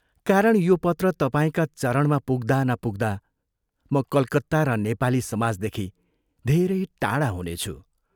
कारण यो पत्र तपाईंका चरणमा पुग्दा नपुग्दा म कलकत्ता र नेपाली समाजदेखि धेरै टाढा हुनेछु।